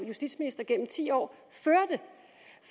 justitsminister gennem ti år